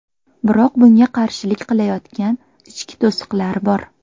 Biroq bunga qarshilik qilayotgan ichki to‘siqlar bor.